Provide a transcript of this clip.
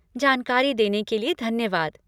जानकारी देने के लिए धन्यवाद।